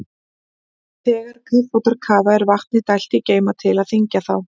Þegar kafbátar kafa er vatni dælt í geyma til að þyngja þá.